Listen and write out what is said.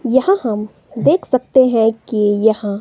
यहां हम देख सकते है कि यहां--